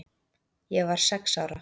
Ég var sex ára.